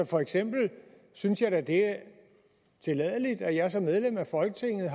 for eksempel synes jeg da det er tilladeligt at jeg som medlem af folketinget